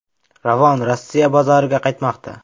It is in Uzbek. Ravon Rossiya bozoriga qaytmoqda.